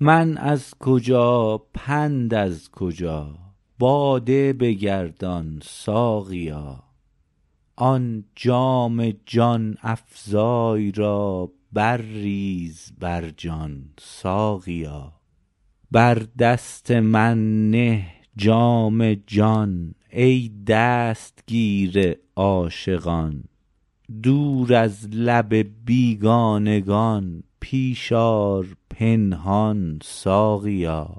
من از کجا پند از کجا باده بگردان ساقیا آن جام جان افزای را برریز بر جان ساقیا بر دست من نه جام جان ای دستگیر عاشقان دور از لب بیگانگان پیش آر پنهان ساقیا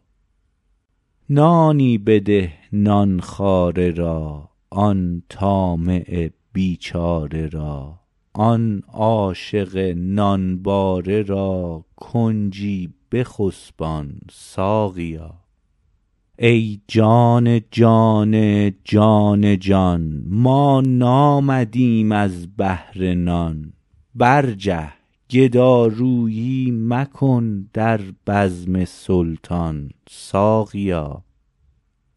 نانی بده نان خواره را آن طامع بیچاره را آن عاشق نانباره را کنجی بخسبان ساقیا ای جان جان جان جان ما نامدیم از بهر نان برجه گدارویی مکن در بزم سلطان ساقیا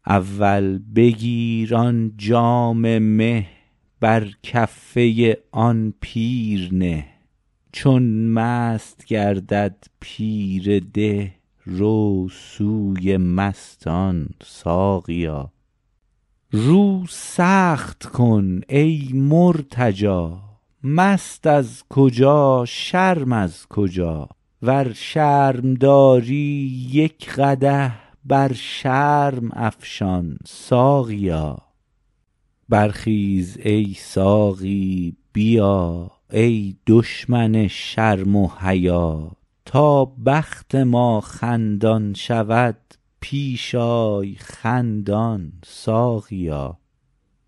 اول بگیر آن جام مه بر کفه آن پیر نه چون مست گردد پیر ده رو سوی مستان ساقیا رو سخت کن ای مرتجا مست از کجا شرم از کجا ور شرم داری یک قدح بر شرم افشان ساقیا برخیز ای ساقی بیا ای دشمن شرم و حیا تا بخت ما خندان شود پیش آی خندان ساقیا